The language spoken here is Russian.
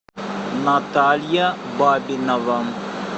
наталья бабинова